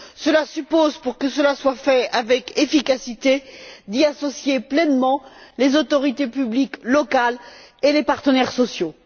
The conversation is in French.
Cela suppose, pour que cela soit fait avec efficacité, d'y associer pleinement les autorités publiques locales et les partenaires sociaux.